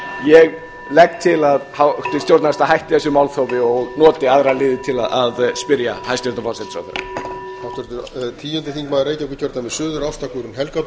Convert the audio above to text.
ég legg til að háttvirt stjórnarandstaða hætti þessu málþófi og noti aðra liði til að spyrja hæstvirtan forsætisráðherra